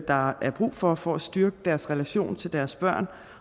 der er brug for for at styrke deres relation til deres børn